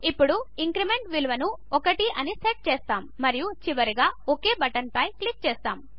ఇప్పుడు ఇంక్రిమెంట్ విలువను 1 అని సెట్ చేస్తాము మరియు చివరిగా ఒక్ బటన్పై క్లిక్ చేస్తాము